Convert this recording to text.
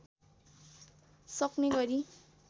सक्ने गरी